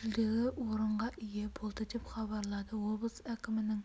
жүлделі орындарға ие болды деп хабарлады облыс әкімінің